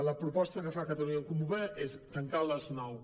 la proposta que fa catalunya en comú podem és tancar a les nou